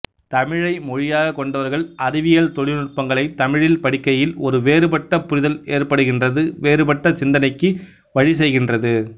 தமிழை மொழியாகக் கொண்டவர்கள் அறிவியல்தொழில் நுட்பங்களைத் தமிழில் படிக்கையில் ஒரு வேறுபட்ட புரிதல் ஏற்படுகின்றது வேறுபட்ட சிந்தனைக்கு வழி செய்கின்றது